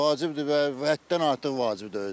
Vacibdir və həddən artıq vacibdir özü də.